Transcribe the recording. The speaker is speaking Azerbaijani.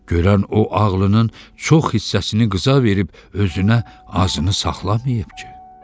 Görən o ağlının çox hissəsini qıza verib özünə azını saxlamayıb ki.